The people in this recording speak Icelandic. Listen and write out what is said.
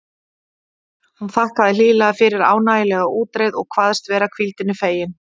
Hún þakkaði hlýlega fyrir ánægjulega útreið og kvaðst vera hvíldinni fegin.